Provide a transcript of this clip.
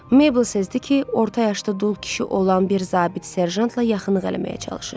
Mabel sezdi ki, orta yaşlı dul kişi olan bir zabit Serjantla yaxınlıq eləməyə çalışır.